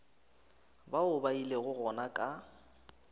bao ba ilego gona ka